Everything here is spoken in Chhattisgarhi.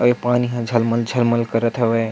अऊ पानी ह झलमल झलमल करत हवय।